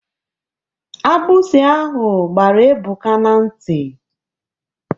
Agbụsi ahụ gbara Ebuka n'nti.